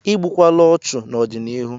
Igbukwala ọchụ n'ọdịnihu!